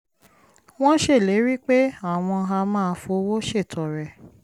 wọ́n ṣèlérí pé àwọn á máa fowó ṣètọrẹ